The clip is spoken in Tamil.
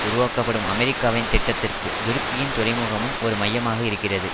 உருவாக்கப்படும் அமெரிக்காவின் திட்டத்திற்கு துருக்கியின் துறைமுகமும் ஒரு மையமாக இருக்கிறது